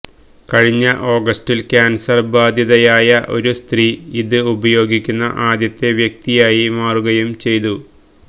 കഴിഞ്ഞ ഓഗസ്റ്റിൽ ക്യാൻസർ ബാധിതയായ ഒരു സ്ത്രീ ഇത് ഉപയോഗിക്കുന്ന ആദ്യത്തെ വ്യക്തിയായി മാറുകയും ചെയ്തു